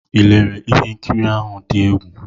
Ị lere ihe nkiri ahụ dị egwu?